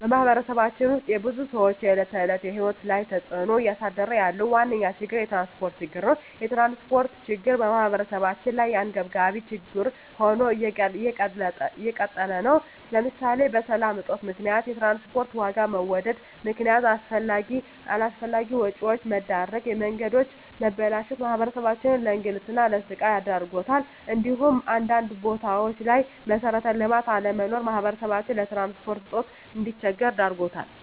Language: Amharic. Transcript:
በማህበረሰባችን ውስጥ የብዙ ሰዎች የዕለት ተዕለት ህይወት ላይ ተፅእኖ እያሳደረ ያለው ዋነኛ ችግር የትራንስፖርት ችግር ነው። የትራንስፖርት ችግር በማህበረሰባችን ላይ አንገብጋቢ ችግር ሆኖ እንደቀጠለ ነው ለምሳሌ በሰላም እጦት ምክንያት የትራንስፖርት ዋጋ በመወደድ ምክነያት አላስፈላጊ ወጪዎች መዳረግ፣ የመንገዶች መበላሸት ማህበረሰባችንን ለእንግልትና ለስቃይ ዳርጓታል እንዲሁም አንዳንድ ቦታዎች ላይ መሠረተ ልማት አለመኖር ማህበረሰባችን በትራንስፖርት እጦት እንዲቸገር ዳርጎታል።